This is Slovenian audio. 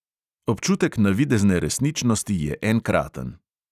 Občutek navidezne resničnosti je enkraten.